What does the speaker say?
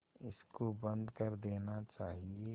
इसको बंद कर देना चाहिए